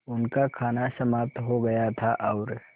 उनका खाना समाप्त हो गया था और